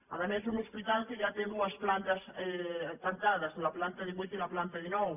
a més un hospital que ja té dues plantes tancades la planta divuit i la planta dinou